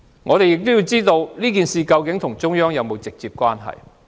我們也想知道這事件與中央有否直接關係。